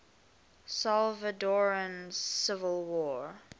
salvadoran civil war